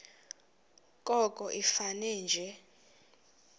koko ifane nje